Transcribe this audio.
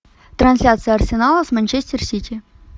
трансляция арсенала с манчестер сити